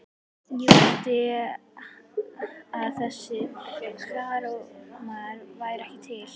Ég vildi að þessir krakkaormar væru ekki til.